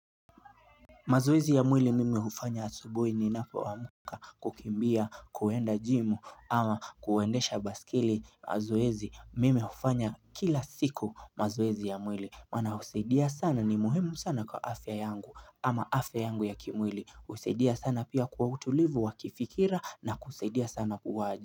Mazoezi ya mwili mimi hufanya asubuhi ninapo amka kukimbia kuenda jimu ama kuendesha basikili mazoezi mimi hufanya kila siku mazoezi ya mwili Maana husaidia sana ni muhemu sana kwa afya yangu ama afya yangu ya kimwili husaidia sana pia kwa utulivu wa kifikira na kusaidia sana puwaji.